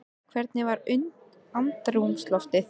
Hvernig var andrúmsloftið?